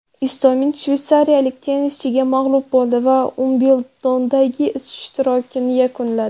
Istomin shveysariyalik tennischiga mag‘lub bo‘ldi va Uimbldondagi ishtirokini yakunladi.